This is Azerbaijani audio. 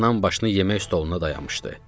Anam başını yemək stoluna dayamışdı.